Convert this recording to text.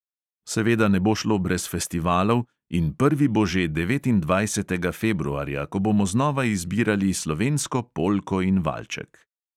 Seveda ne bo šlo brez festivalov in prvi bo že devetindvajsetega februarja, ko bomo znova izbirali slovensko polko in valček.